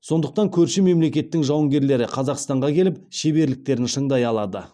сондықтан көрші мемлекеттің жауынгерлері қазақстанға келіп шеберліктерін шыңдай алады